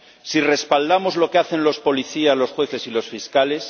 si respaldamos lo que hacen los policías, los jueces y los fiscales